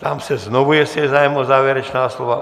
Ptám se znovu, jestli je zájem o závěrečná slova.